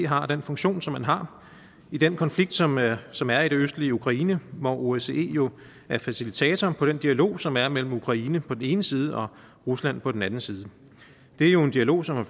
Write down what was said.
har den funktion som man har i den konflikt som er som er i det østlige ukraine hvor osce jo er facilitator på den dialog som er mellem ukraine på den ene side og rusland på den anden side det er jo en dialog som